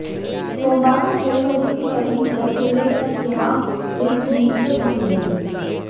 सोमवार को डेढ़ बजे के करीब दस मिनट तक यहां लिफ्ट बीच में फंसी रही